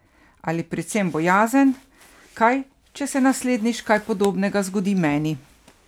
Ali predvsem bojazen, kaj če se naslednjič kaj podobnega zgodi meni?